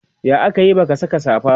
ya akayi baka Saka safa ba?